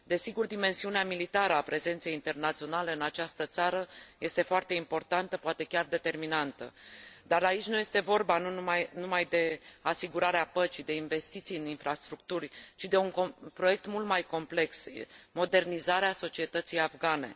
Desigur, dimensiunea militară a prezenței internaționale în această țară este foarte importantă, poate chiar determinantă, dar aici nu este vorba numai de asigurarea păcii, de investiții în infrastructuri, ci de un proiect mult mai complex, modernizarea societății afgane.